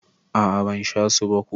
A'a ban sha su ba ko.